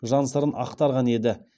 жан сырын ақтарған еді